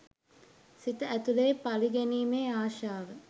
සිත ඇතුළේ පළිගැනීමේ ආශාව